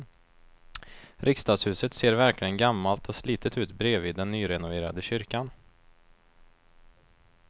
Riksdagshuset ser verkligen gammalt och slitet ut bredvid den nyrenoverade kyrkan.